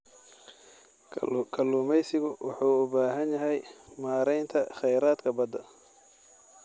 Kalluumaysigu wuxuu u baahan yahay maaraynta kheyraadka badda.